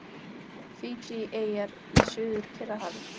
Fídjieyjar í Suður-Kyrrahafi.